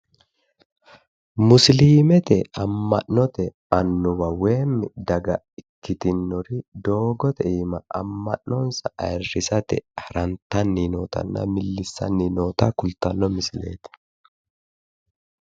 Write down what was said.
Musiliimete amma'note annuwa woyi daga ikkitinori doogote iima amma'nonsa ayrrisate harantanni nna millissanni noota kultanno misileeti.